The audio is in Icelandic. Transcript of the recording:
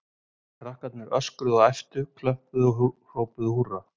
Krakkarnir öskruðu og æptu, klöppuðu og hrópuðu húrra.